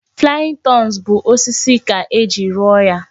Flying turns bụ osisi ka e ji rụọ ya